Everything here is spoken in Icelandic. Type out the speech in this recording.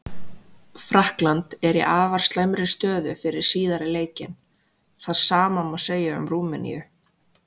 Frakkland er í afar slæmri stöðu fyrir síðari leikinn, það sama má segja um Rúmeníu.